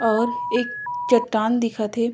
और एक चट्टान दिखत हे।